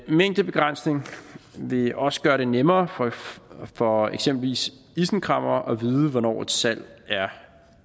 en mængdebegrænsning vil også gøre det nemmere for for eksempelvis isenkræmmere at vide hvornår et salg er